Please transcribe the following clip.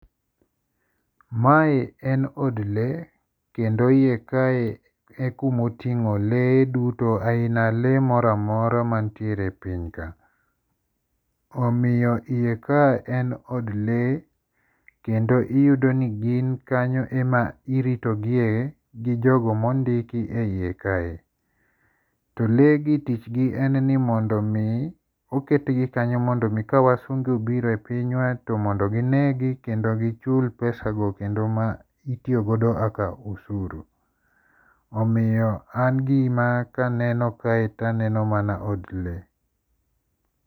Mae en od lee kendo hiye kae e kuma otingo' lee dudo ahina lee mora mora manitiere e piny kae, omiyo hiye kae en od lee kendo iyudo ni gin kanyo ema irito gie gi jogo ma ondiko e hiye kae, to leegi tichgi en ni mondo mi oketgi kanyo mondo mi kawasungu obiro e pinywa to mondo ginegi kendo gichul pesago kendo ma itiyo godo kaka usuru, omiyo an gima ka aneno kae to aneno mana od lee.